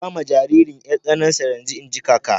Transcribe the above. Ba ma jaririn 'yar tsanansa yanzu, in ji kaka.